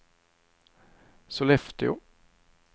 Sollefteå